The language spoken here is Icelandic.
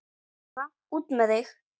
Svona, út með þig!